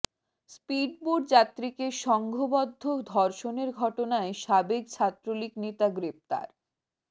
speedboat যাত্রীকে সংঘবদ্ধ ধর্ষণের ঘটনায় সাবেক ছাত্রলীগ নেতা গ্রেফতার